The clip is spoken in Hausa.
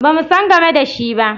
Ba mu san game da shi ba.